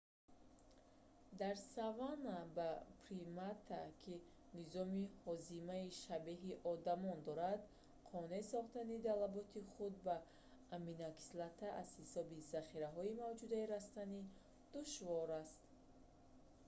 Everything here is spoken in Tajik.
дар саванна ба примате ки низоми ҳозимаи шабеҳи одамон дорад қонеъ сохтани талаботи худ ба аминокислота аз ҳисоби захираҳои мавҷудаи растанӣ душвор аст